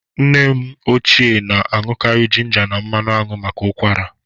Nne m ochie na-aṅụkarị jịnja na manụ anwụ maka ụkwara.